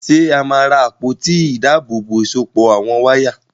Ṣé a máa ra àpótí ìdábòòbò ìsopọ̀ àwọn wáyà?